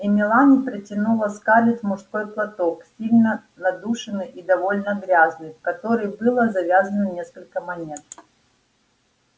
и мелани протянула скарлетт мужской платок сильно надушенный и довольно грязный в который было завязано несколько монет